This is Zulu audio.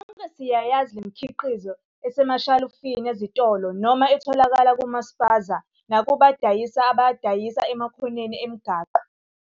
Sonke siyayazi le mikhiqizo esemashalufini ezitolo noma etholakala kuma-Spaza nakubadayisi abadayisa emakhoneni emigwaqo.